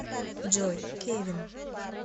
джой кевин